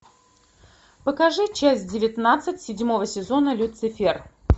покажи часть девятнадцать седьмого сезона люцифер